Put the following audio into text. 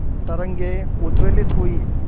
तरंगे उद्वेलित हुई